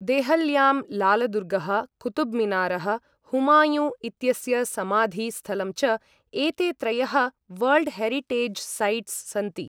देहल्यां, लालदुर्गः, कुतुबमीनारः, हुमायुँ इत्यस्य समाधि स्थलं च, एते त्रयः वर्ल्ड् हेरिटेज् सैट्स् सन्ति।